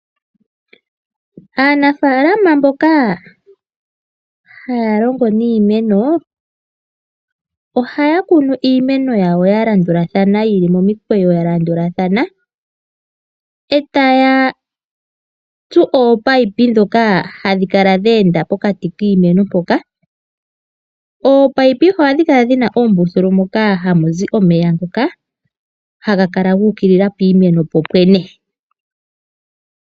Aanafalama mboka haya longo niimeno ohaya kunu iimeno yawo ya landulathana yili momikweyo ya landulathana e taya tsu oopaipi dhoka hadhi kala dha enda pokati kiimeno mpoka, oopaipi ohadhi kala dhina oombuthulu moka hamuzi omeya ngoka haga kala gu ukilila piimeno popwene.